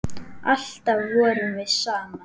Alltaf vorum við saman.